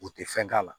U tɛ fɛn k'a la